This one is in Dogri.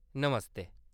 नमस्ते !